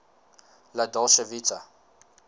la dolce vita